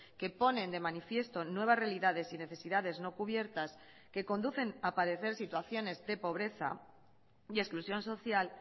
que ponen de manifiesto nuevas realidades y necesidades no cubiertas que conducen a padecer situaciones de pobreza y exclusión social